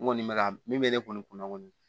N kɔni bɛ ka min bɛ ne kɔni kun na kɔni